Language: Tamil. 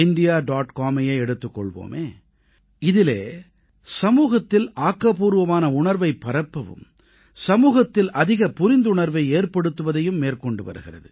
comஐயே எடுத்துக் கொள்வோமே இதிலே சமூகத்தில் ஆக்கப்பூர்வமான உணர்வைப் பரப்பவும் சமூகத்தில் அதிக புரிந்துணர்வை ஏற்படுத்துவதையும் மேற்கொண்டு வருகிறது